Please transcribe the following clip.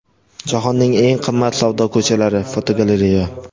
Jahonning eng qimmat savdo ko‘chalari (fotogalereya).